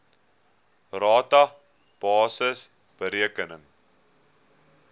rata basis bereken